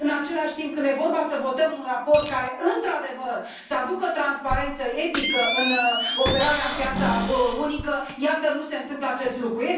În același timp, când e vorba să votăm un raport care într adevăr să aducă transparență etică în operarea în piața unică, iată, nu se întâmplă acest lucru.